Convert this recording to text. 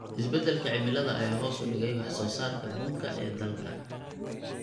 Isbeddelka cimilada ayaa hoos u dhigay wax soo saarka bunka ee dalka.